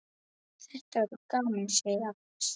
Þetta verður gaman, segir Agnes.